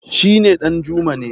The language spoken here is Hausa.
shi ne Danjuma ne